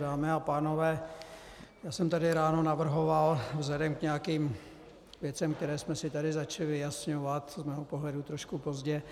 Dámy a pánové, já jsem tady ráno navrhoval vzhledem k nějakým věcem, které jsme si tady začali vyjasňovat z mého pohledu trošku pozdě,